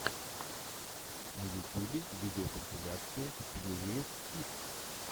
на ютюбе видеокомпиляция фьюриес пит